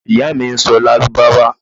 Iya mi n sọ lárúbáwá